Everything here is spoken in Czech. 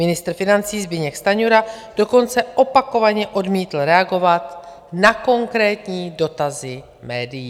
Ministr financí Zbyněk Stanjura dokonce opakovaně odmítl reagovat na konkrétní dotazy médií.